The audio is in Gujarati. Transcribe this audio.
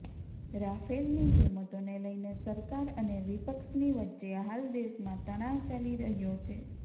રાફેલની કિંમતોને લઇને સરકાર અને વિપક્ષની વચ્ચે હાલ દેશમાં તણાવ ચાલી રહ્યો છે